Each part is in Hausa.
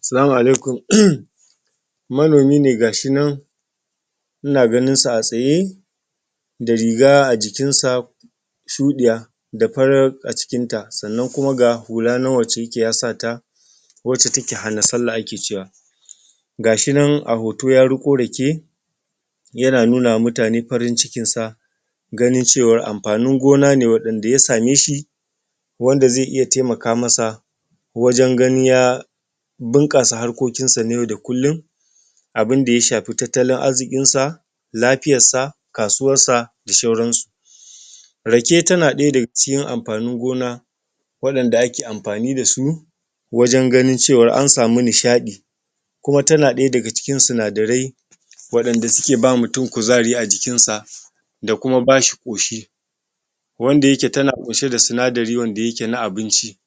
Salamu alaikum manomine ga shinan ina ganin sa a tsaye da riga ajikinsa shuɗiya da farar ajikinta sannan kuma ga hula wace yake ya sata wace take hana sallah ake cewa ga shinan a hoto ya riko rake yana nunama mutane farin cikinsa ganin cewan amfanin gona ne waɗan da ya sameshi wanda ze iya temaka masa wajan ganin ya bun ƙasa harko kinsa na yau da kullun abinda ya shafe tattalin arzikin sa lafiyassa kasuwassa da shauran su rake tana ɗaya dag cikin amfanin gona wa ɗanda ake amfani dasu wajan ganin cewar ansamu nishaɗi kuma tana ɗaya daga cikin suna darai waɗanda suke ba mutun kuzari a jikinsa da kuma bashi ƙoshi wanda yake tana kunshe da sinari wanda yake na abinci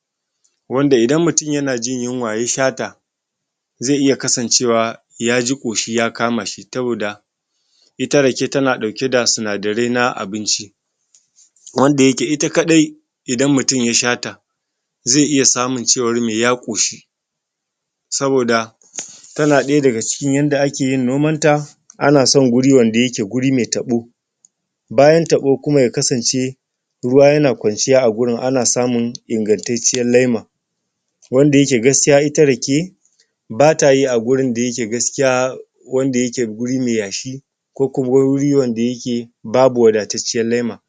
wanda indan mutun yana jin yinwa ya shata ze iya kasan cewa yaji ƙoshi ya kamashi saboda ita rake tana ɗauke da sina dare na abinci wanda yake ita kadai idan mutun yashata ze iya samun cewan me ya ƙoshi saboda tana ɗaya daga cikin yanda akeyin noman ta ana son guri wanda yake guri me taɓo bayan taɓo kuma ya kasance ruwa yana ƙwanciya a gurin ansamun ingan tacciyan lema wanda yake gaskiya ita yake batayi agurin da yake gaskiya wanda yake guri me yashi ko kuma guri wanda yake babu wada tacciyan lema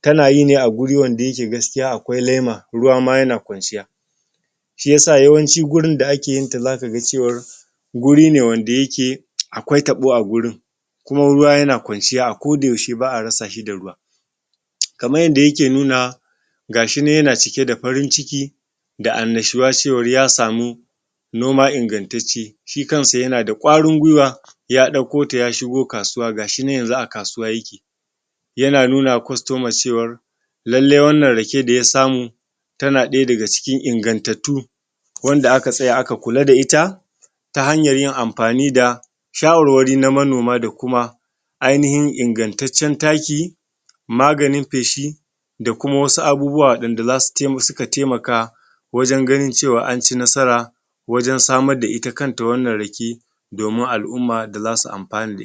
tana yine a guri wanda yake gaskiya akwai lema ruwa ma na ƙwanciya shi yasa yawanci gurin da akeyinta zaka ga cewar guri ne wanda yake akwai taɓo a gurin kuma ruwa yana ƙwanciya ako da yaushe ba a rasa shi da ruwa kaman yanda yake nunawa gashinan yana cike da farin ciki da annashuwa cewan yasamu noma ingan tacce shi kansa yanada gwarin gwiwa ya ɗauko ta yashigo kasuwa gashinan yanzu akasuwa yake yana nunama kostoma cewan lelle wannan rake da ya samu ta na ɗaya dag cikin in gantattu wanda aka tsaya aka kula da ita ta hanyan yin amfani da sha war wari na manoma dakuma ai ni hin in gan taccen taki maganin feshi dakuma wasu abubuwa wanda suka temaka wajan ganin cewa anci nasara wajan samar da ita kanta wannan rake domin al'umma da zasu amfana da ita